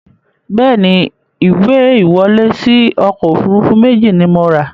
Bẹ́ẹ̀ni, ìwé ìwọlé síí ọkọ̀ Òfurufú méjì ni mo ra